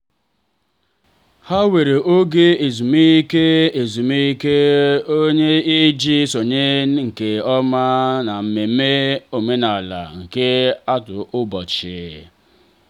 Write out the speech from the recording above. ha were oge ezumike ezumike ọrụ iji sonye nke oma na mmemme omenala nke ọtụtụ ụbọchị.